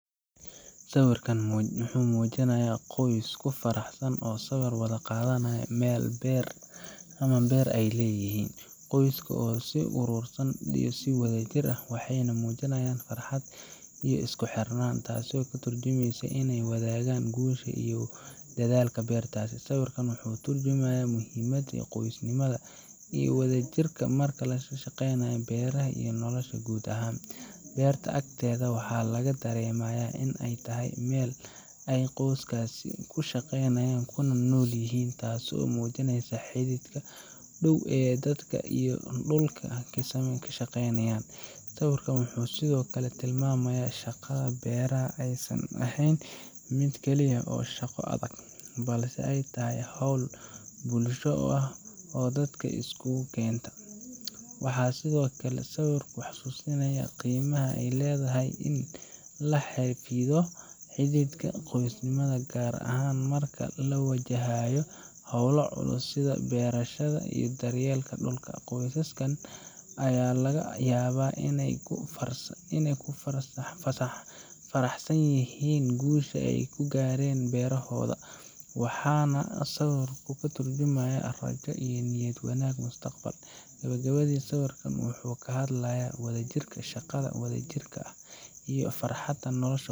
Sawirkan waxa uu muujinayaa qoys ku faraxsan oo sawir wada qaaday meel beerta ama beer ay leeyihiin. Qoyska ayaa isu soo ururay si wadajir ah, waxayna muujiyaan farxad iyo isku xirnaan, taasoo ka tarjumaysa in ay wadaagaan guusha iyo dadaalka beerta. Sawirkan wuxuu ka turjumayaa muhiimadda qoysnimada iyo wadajirka marka la shaqeynayo beeraha iyo nolosha guud ahaan. Beerta agteeda waxaa laga dareemayaa in ay tahay meel ay qoyskaasi ku shaqeeyaan kuna nool yihiin, taasoo muujineysa xidhiidhka dhow ee dadka iyo dhulka ay ka shaqeeyaan. Sawirkan wuxuu sidoo kale tilmaamayaa in shaqada beeraha aysan ahayn mid keliya oo shaqo adag, balse ay tahay hawl bulsho oo dadka iskugu keenta. Waxaa sidoo kale sawirku xusuusinayaa qiimaha ay leedahay in la xafido xidhiidhka qoysnimado, gaar ahaan marka la wajahayo hawlo culus sida beerashada iyo daryeelka dhulka. Qoysaskan ayaa laga yaabaa inay ku faraxsan yihiin guusha ay ka gaareen beerahooda, waxaana sawirku ka tarjumayaa rajo iyo niyad wanaag mustaqbalka. Gabagabadii, sawirkan wuxuu ka hadlayaa wadajirka, shaqada wadajirka ah, iyo farxadda nolosha.